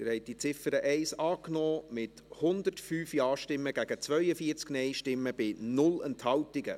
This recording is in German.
Sie haben diese Ziffer 2 angenommen, mit 105 Ja- gegen 42 Nein-Stimmen bei 0 Enthaltungen.